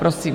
Prosím.